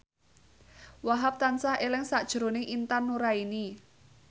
Wahhab tansah eling sakjroning Intan Nuraini